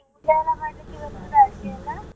ಅಡಿಗೆ ಎಲ್ಲಾ ಮಾಡ್ಲಿಕ್ಕೆ ಬರ್ತದ ಅಡಿಗೆ ಎಲ್ಲ.